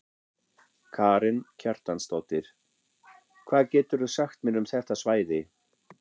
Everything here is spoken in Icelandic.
Karen Kjartansdóttir: Hvað getur þú sagt mér um þetta svæði?